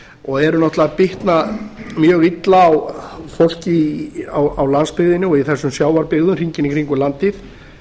og eru náttúrlega að bitna mjög illa á fólki á landsbyggðinni og þessum sjávarbyggðum hringinn í kringum landið